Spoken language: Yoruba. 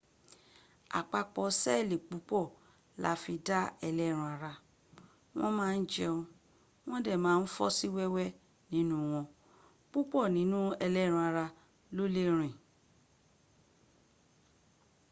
àpapọ̀ seeli púpọ̀ la fí dá ẹlẹ́ran ara wọ́n ma n jẹun wọn dẹ̀ ma n fọ́ọsí wẹ́wẹ́ nínú wọn púpọ̀ nínú ẹlẹ́ran ara ló lè rìn